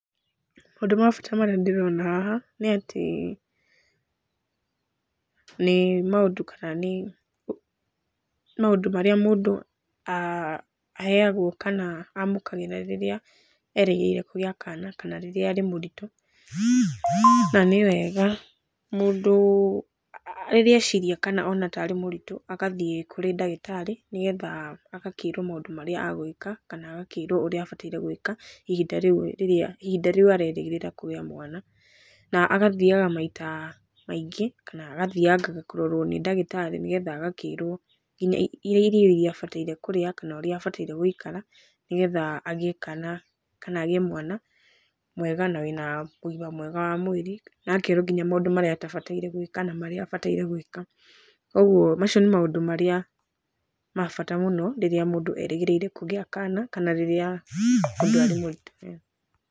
Maũndũ ma bata marĩa ndĩrona haha nĩ atĩ nĩ maũndũ kana nĩ maũndũ marĩa mũndũ aheagwo kana amũkagira rĩrĩa erĩgĩrĩirie kũgĩa kana rĩrĩa arĩ mũritũ. Na nĩ wega mũndũ rĩrĩa eciria kana ona tarĩ mũritũ agathiĩ kũrĩ ndagĩtarĩ nĩgetha agakĩrwo maũndũ marĩa agũĩka kana agakĩrwo ũrĩa abataire gũĩka ihinda rĩu aregĩrĩra kũgĩa mwana na agathiaga maita maingĩ kana agathiangaga kũrorwo nĩ ndagĩtarĩ nĩgetha agakĩrwo nginya irio iria abataire kũrĩa kana ũrĩa abataire gũikara nĩgetha agĩe kana, kana agĩe mwana mwega na wĩ na ũgima mwega wa mwĩrĩ. Na akerwo nginya maũndũ marĩa atabataire gũĩka na marĩa abataire gũĩka. Koguo macio nĩ maũndũ marĩa ma bata mũno rĩrĩa mũndũ erĩgĩrĩire kũgĩa kana, kana rĩrĩa mũndũ arĩ mũritũ.